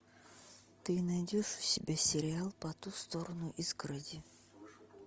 ты найдешь у себя сериал по ту сторону изгороди